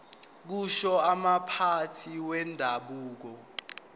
kusho umphathi wendabuko